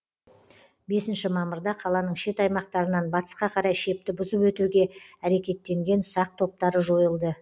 бесінші мамырда қаланың шет аймақтарынан батысқа қарай шепті бұзып өтуге әрекеттенген ұсақ топтары жойылды